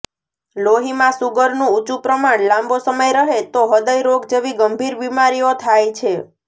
લોહીમાં સુગરનું ઉંચુ પ્રમાણ લાંબો સમય રહે તો હૃદય રોગ જેવી ગંભીર બિમારીઓ થાય છે